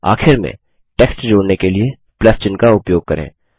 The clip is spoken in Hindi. आखिर में टेक्स्ट जोड़ने के लिए चिन्ह का उपयोग करें